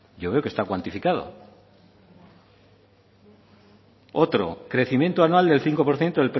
yo veo que está cuantificado otro crecimiento anual del cinco por ciento